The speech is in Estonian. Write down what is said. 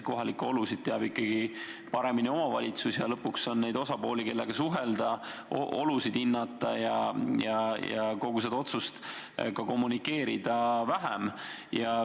Kohalikke olusid teab omavalitsus ikkagi paremini ja nii on lõpuks neid osapooli, kellega suhelda, kelle olusid hinnata ja kellele kogu seda otsust kommunikeerida, vähem.